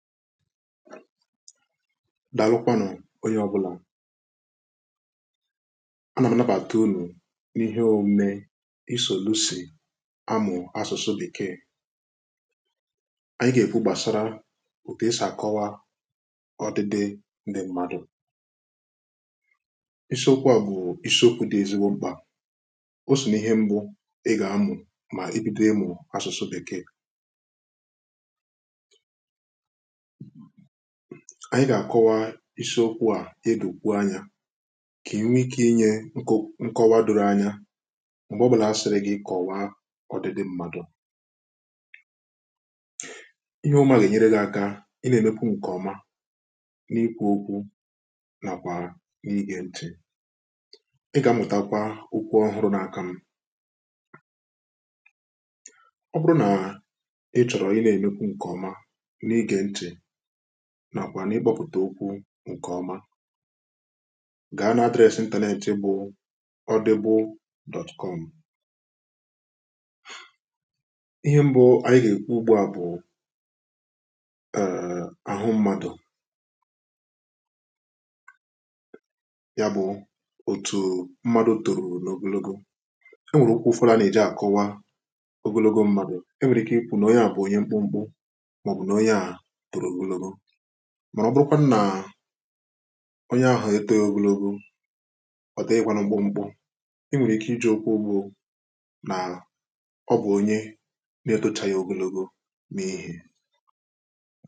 Daalụ kwánụ onye ọbụla a na manapà ata ulò n’ihe omė i solusi amụ̀ asụ̀sụ dìke ànyị ga-efu gbàsara otù e sì àkọwa ọdịde ndị mmadụ̀ isiokwu a bụ̀ isiokwu dị ezigbo mkpà o so n’ihe mbụ ị ga-amụ̀ mà ibido ịmụ̀ asụ̀sụ dị kee anyị gà-àkọwa isiokwu à edù kwu anya kà enwe ike inye nkọwa doro anya m̀gbè ọ bụlà a sịrị gị kọwa ọdịdị mmadụ̀ ihe ụmụ̀ a gà-enyere gị aka ị nà-èmekwu nkọma n’ikwu okwu nàkwà n’igè ntì ị gà-amụ̀takwa ụkwụ ọhụrụ nȧ-akȧ m ọ bụrụ nà nà àkwà n’ikpọ̀pụ̀tà ukwu ǹkè ọma gà ha nà adreesị ǹtìnetị̀ bụ̀ ọdị̀gbụ̀.com ihẹ mbụ ànyị gà èkpu ugbua bụ̀ àhụ mmadụ̀ ya bụ̀ otù mmadụ̀ tòròlògologo ẹ nwẹ̀rẹ̀ ukwu fora nà èji àkọwa ogologo mmadụ̀ e wẹ̀rẹ̀ ike ikwu nà onye à bụ̀ onye mkpụmkpụ màrà ọ bụrụkwanụ nà onye ahụ̀ eto ogologo ọ dị ịgwa nà ụgbọ m̀kpụ i nwèrè ike ịjị̀ okwu bụ nà ọ bụ̀ onye na-etochaghị ogologo mée.